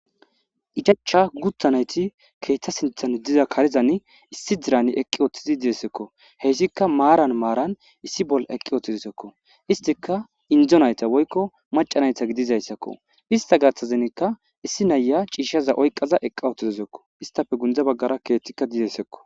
ichacha guttanayti keeththa sinthan diza karezan issi dirani eqqi ooththizi diesekko heyssikka maaran maaran issi bol eqqi ooththizisekko istika indzo nayta woykko macanayta gidizayssakko ista gaththazenika issi naya ciishshaza oyqaza eqqa othizisekko istafe gundza baggara keethtikka didesekko